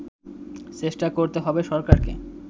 চেষ্টা করতে হবে সরকারকে